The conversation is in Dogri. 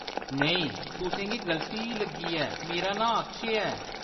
नेईं, तुसेंगी गलती लग्गी ऐ, मेरा नांऽ अक्षय ऐ।